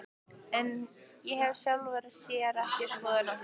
Ég hef í sjálfu sér ekki skoðun á því.